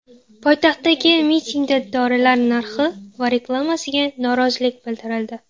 Poytaxtdagi mitingda dorilar narxi va reklamasiga norozilik bildirildi.